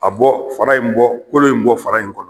A bɔ fara in bɔ kolo in bɔ fara in kɔnɔ